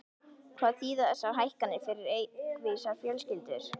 Hvað þýða þessar hækkanir fyrir reykvískar fjölskyldur?